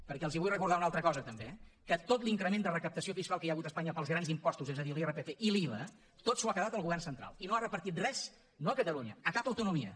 perquè els vull recordar una altra cosa també eh que tot l’increment de recaptació fiscal que hi ha hagut a espanya pels grans impostos és a dir l’irpf i l’iva tot s’ho ha quedat el govern central i no ha repartit res no a catalunya a cap autonomia